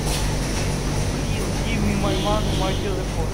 плиз гив ми май мани май телефон